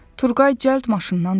Turqay cəld maşından düşdü.